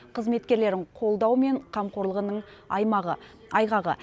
қызметкерлерін қолдау мен қамқорлығының айғағы